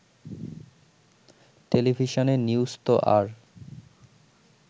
টেলিভিশনের নিউজতো আর